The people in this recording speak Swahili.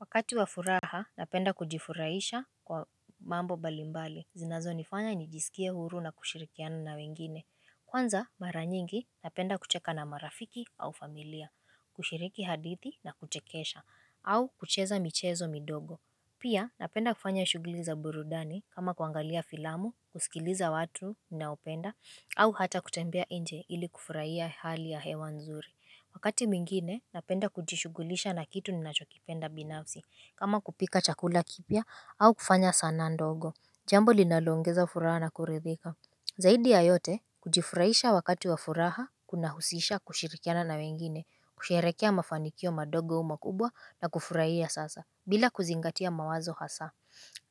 Wakati wafuraha napenda kujifurahisha kwa mambo balimbali zinazo nifanya nijisikie huru na kushirikiana na wengine Kwanza mara nyingi napenda kucheka na marafiki au familia kushiriki hadithi na kuchekesha au kucheza michezo midogo Pia napenda kufanya shuguli za burudani kama kuangalia filamu, kusikiliza watu ni naopenda au hata kutembea inje ili kufurahia hali ya hewa nzuri Wakati mwingine napenda kujishugulisha na kitu ninachokipenda binafsi kama kupika chakula kipya au kufanya sana ndogo jambo linalongeza furaha na kuridhika Zaidi ya yote kujifurahisha wakati wa furaha kuna husisha kushirikiana na wengine kusherekea mafanikio madogo umakubwa na kufurahia sasa bila kuzingatia mawazo hasa